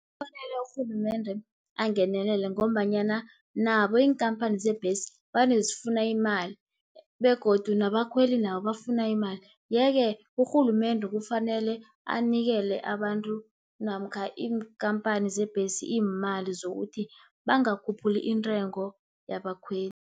Kufanele urhulumendre angenelele, ngombanyana nabo iinkhamphani zebhesi vane zifuna imali, begodu nabakhweli nabo bafuna imali. Yeke urhulumende kufanele anikele abantu, namkha iinkhamphani zebhesi iimali zokuthi bangakhuphuli intengo yabakhweli.